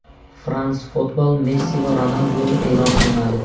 France Football Messi va Ronalduni e’lon qilmadi.